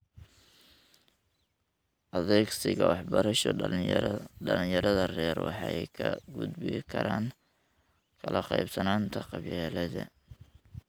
Adegsiga Waxbarasho, dhalinyarada rer waxay kaga gudbi karaan kala qaybsanaanta qabyaaladda.